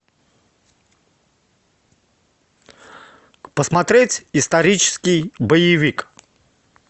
посмотреть исторический боевик